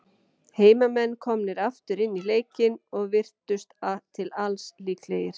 Heimamenn komnir aftur inn í leikinn, og virtust til alls líklegir.